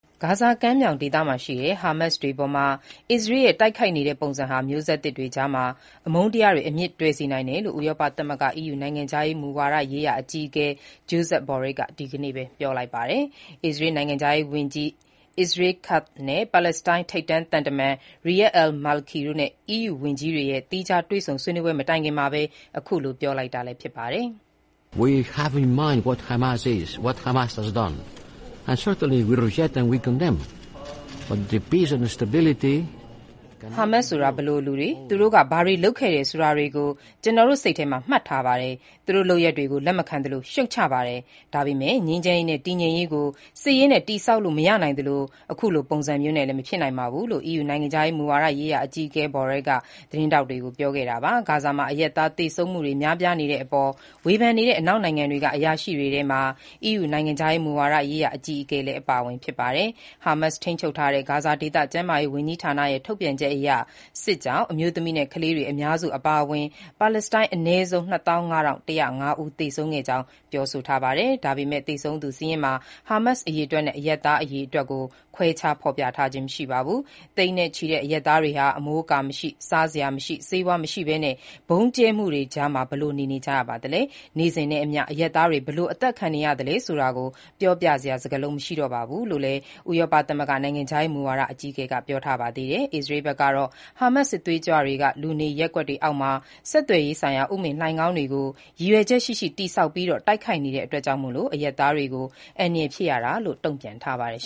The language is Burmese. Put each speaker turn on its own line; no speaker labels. ဂါဇာကမ်းမြောင်ဒေသရှိ ဟာမတ်စ်တွေအပေါ် အစ္စရေးက တိုက်ခိုက်နေပုံဟာ မျိုးဆက်သစ်တွေကြားမှာ အမုန်းတရားတွေ အမြစ်တွယ်စေနိုင်တယ်လို့ ဥရောပသမဂ္ဂ (EU) နိုင်ငံခြားမူဝါဒရေးရာ အကြီးအကဲ Josep Borrell က ဒီနေ့ပဲ ပြောလိုက်ပါတယ်။ အစ္စရေးနိုင်ငံခြားရေးဝန်ကြီး Israel Katz, ပါလက်စတိုင်း ထိပ်တန်းသံတမန် Riyad al-Maliki တို့နဲ့ အီးယူဝန်ကြီးတွေရဲ့ သီးခြားတွေ့ဆုံဆွေးနွေးပွဲ မတိုင်ခင်မှာပဲ အခုလို ပြောလိုက်တာပါ။ "ဟာမတ်စ်ဆိုတာ ဘယ်လိုလူတွေ၊ သူတို့က ဘာတွေလုပ်ခဲ့တယ်ဆိုတာတွေကို ကျွန်တော်တို့ စိတ်ထဲမှာ မှတ်ထားပါတယ်။ သူတို့လုပ်ရပ်တွေကို လက်မခံသလို၊ ရှုတ်ချပါတယ်။ ဒါပေမဲ့ ငြိမ်းချမ်းရေးနဲ့ တည်ငြိမ်ရေးကို စစ်ရေးနဲ့ တည်ဆောက်လို့ မရနိုင်သလို၊ အခုလိုပုံစံမျိုးနဲ့လည်း မဖြစ်နိုင်ပါဘူး။" လို့ EU နိုင်ငံခြားမူဝါဒရေးရာ အကြီးအကဲ Borell က သတင်းထောက်တွေကို ပြောခဲ့တာပါ။ ဂါဇာမှာ အရပ်သားသေဆုံးမှုတွေ များပြားနေတဲ့အပေါ် ဝေဖန်နေတဲ့ အနောက်နိုင်ငံတွေက အရာရှိတွေထဲမှာ EU နိုင်ငံခြားမူဝါဒရေးရာ အကြီးအကဲလည်း အပါအဝင် ဖြစ်ပါတယ်။ ဟာမတ်စ်ထိန်းချုပ်ထားတဲ့ ဂါဇာဒေသ ကျန်းမာရေးဝန်ကြီးဌာနရဲ့ ထုတ်ပြန်ချက်အရ စစ်ကြောင့် အမျိုးသမီးနဲ့ ကလေးတွေ အများစု အပါအဝင် ပါလက်စတိုင်း အနည်းဆုံး ၂၅,၁၀၅ ဦး သေဆုံးခဲ့ကြောင်း ပြောပါတယ်။ ဒါပေမဲ့ သေဆုံးသူစာရင်းမှာ ဟာမတ်စ် အရေအတွက်နဲ့ အရပ်သားအရေအတွက်ကို ခွဲခြားဖော်ပြထားခြင်းမရှိပါဘူး။ သိန်းချီရှိတဲ့ အရပ်သားတွေဟာ အမိုးအကာမရှိ၊ အစားအစာ မရှိ၊ ဆေးဝါး မရှိဘဲနဲ့ ဗုံးကြံမှုတွေကြားဘယ်လို နေ နေကြတယ်၊ နေ့စဉ်နဲ့အမျှ အရပ်သားတွေ ဘယ်လို အသတ်ခံနေရတယ်ဆိုတာကို ပြောပြစရာ စကားလုံးမရှိပါဘူးလို့လည်း ဥရောပသမဂ္ဂ နိုင်ငံခြားရေးမူဝါဒ အကြီးအကဲ ကပြောထားပါသေးတယ်။ အစ္စရေးဘက်ကတော့ ဟာမတ်စ်စစ်သွေးကြွတွေက လူနေရပ်ကွက်တွေအောက်မှာ ဆက်သွယ်ရေးဆိုင်ရာ ဥမင်လိုဏ်ခေါင်းတွေကို ရည်ရွယ်ချက်ရှိရှိတည်ဆောက်ပြီး တိုက်ခိုက်နေတဲ့အတွက် အရပ်သားတွေကို အန္တရာယ်ဖြစ်ရတာလို့ တုံ့ပြန်ထားပါတယ်